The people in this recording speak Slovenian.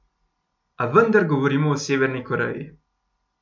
A vendar govorimo o Severni Koreji...